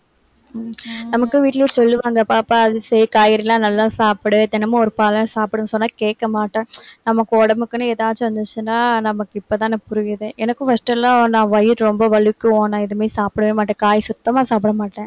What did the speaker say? நமக்கு வீட்ல சொல்லுவாங்க. பாப்பா, அரிசி காய்கறி எல்லாம் நல்லா சாப்பிடு. தினமும் ஒரு பழம் சாப்பிடுன்னு சொன்னா கேட்கமாட்டேன். நமக்கு உடம்புக்குன்னு எதாச்சும் இருந்துச்சுன்னா நமக்கு இப்ப தானே புரியுது. எனக்கும் first எல்லாம் நான் வயிறு ரொம்ப வலிக்கும். ஆனா எதுவுமே சாப்பிடவே மாட்டேன். காய் சுத்தமா சாப்பிடமாட்டேன்.